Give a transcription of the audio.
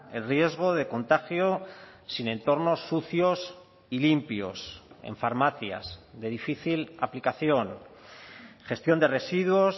el riesgo de contagio sin entornos sucios y limpios en farmacias de difícil aplicación gestión de residuos